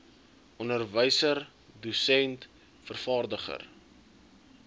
onderwyser dosent vervaardiger